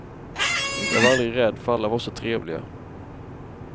Jag var aldrig rädd för alla var så trevliga.